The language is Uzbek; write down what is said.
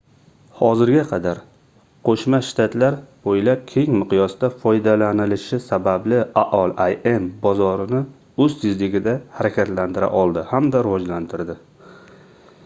hozirga qadar qoʻshma shtatlar boʻylab keng miqyosda foydalanilishi sababli aol im bozorini oʻz tezligida harakatlantira oldi hamda rivojlantirdi